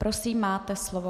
Prosím, máte slovo.